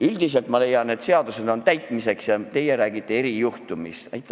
Üldiselt ma leian, et seadused on täitmiseks, aga teie räägite erijuhtumist.